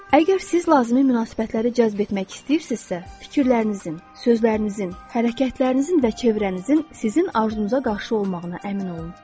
Əgər siz lazımi münasibətləri cəzb etmək istəyirsizsə, fikirlərinizin, sözlərinizin, hərəkətlərinizin və çevrənizin sizin arzunuza qarşı olmağına əmin olun.